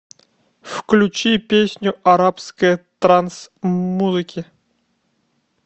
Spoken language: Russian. включи песню арабская транс музыке